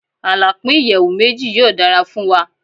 Alapin iyẹwu meji yoo dara fun wa